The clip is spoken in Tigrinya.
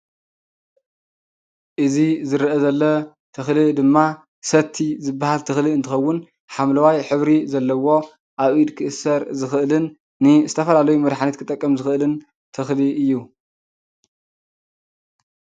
እዙ ዝርአ ዘሎ ተኽሊ ድማ ሰቲ ዝበሃል ተኽሊ እንትኸውን ሓምለዋይ ህብሪ ዘለዎ ኣብ ኢድ ክእሠር ዝኽእልን ን ዝተፈላለዩ መድኃኒት ክጠቀም ዝኽእልን ትኽሊ እዩ